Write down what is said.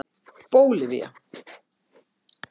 Bólivía